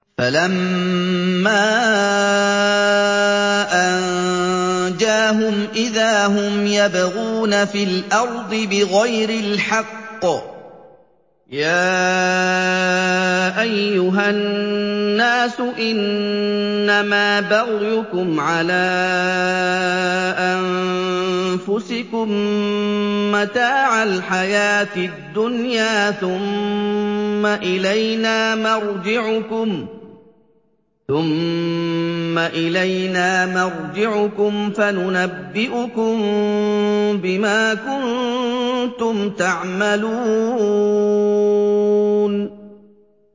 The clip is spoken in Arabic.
فَلَمَّا أَنجَاهُمْ إِذَا هُمْ يَبْغُونَ فِي الْأَرْضِ بِغَيْرِ الْحَقِّ ۗ يَا أَيُّهَا النَّاسُ إِنَّمَا بَغْيُكُمْ عَلَىٰ أَنفُسِكُم ۖ مَّتَاعَ الْحَيَاةِ الدُّنْيَا ۖ ثُمَّ إِلَيْنَا مَرْجِعُكُمْ فَنُنَبِّئُكُم بِمَا كُنتُمْ تَعْمَلُونَ